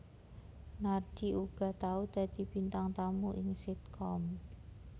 Narji uga tau dadi bintang tamu ing sitkom